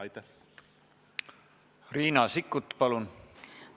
Riina Sikkut, palun!